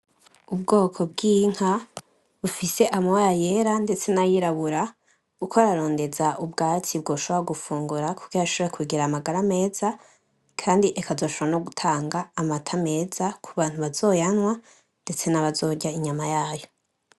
Ubwoko bwinka , bufise amabara yera ndetse nayirabura iriko irarondeza ubwatsi bwoshobora gufungura kugira ishobore kugira amagara meza Kandi ikazoshobora no gutanga amata meza kubantu bazoyanwa , ndetse nabazorya inyama yayo .